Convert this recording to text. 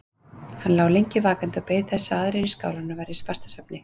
Hann lá lengi vakandi og beið þess að aðrir í skálanum væru í fastasvefni.